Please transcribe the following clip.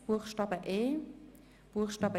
Rückweisung mit folgender Auflage: